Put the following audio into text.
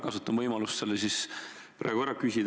Kasutan võimalust selle praegu ära küsida.